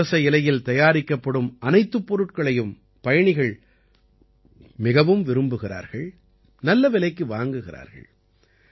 இன்று புரச இலையில் தயாரிக்கப்படும் அனைத்துப் பொருட்களையும் பயணிகள் மிகவும் விரும்புகிறார்கள் நல்ல விலைக்கு வாங்குகிறார்கள்